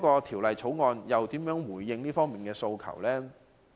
《條例草案》如何回應這方面的訴求？